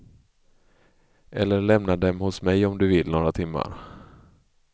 Eller lämna dem hos mig om du vill några timmar.